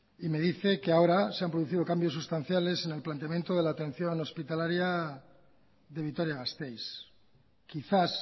y me dice que ahora se han producido cambios sustanciales en el planteamiento de la atención hospitalaria de vitoria gasteiz quizás